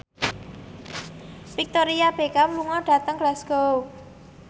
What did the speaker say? Victoria Beckham lunga dhateng Glasgow